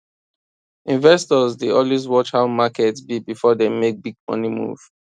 investors dey always watch how market be before dem make big money move